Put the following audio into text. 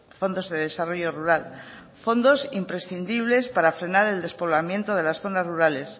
fondos de desarrollo rural fondos imprescindibles para frenar el despoblamiento de las zonas rurales